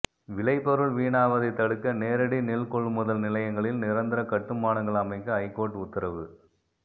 விளைபொருள் வீணாவதை தடுக்க நேரடி நெல் கொள்முதல் நிலையங்களில் நிரந்தர கட்டுமானங்கள் அமைக்க ஐகோர்ட் உத்தரவு